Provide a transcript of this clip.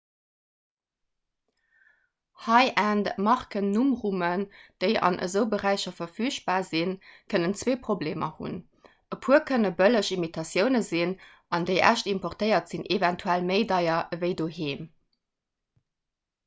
high-end-markennummrummen déi an esou beräicher verfügbar sinn kënnen zwee problemer hunn e puer kënne bëlleg imitatioune sinn an déi echt importéiert sinn eventuell méi deier ewéi doheem